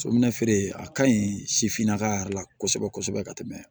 Sonɛnɛfeere a ka ɲi sifinnaka yɛrɛ la kosɛbɛ kosɛbɛ ka tɛmɛ